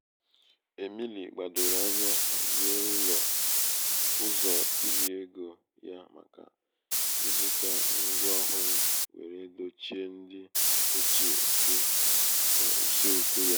è̀mìli gbàdòrò anya hàzie ụzọ̀ irī egō ya màkà ịzụ̄tā ṅgwa ọhụrụ wère dochie ndị ochie dị n’ùseekwū ya